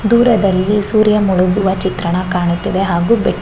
ದೂರದಲ್ಲಿ ಸೂರ್ಯ ಮುಳುಗುವ ಚಿತ್ರಣ ಕಾಣುತ್ತಿದೆ ಹಾಗು ಬೇಕ್ --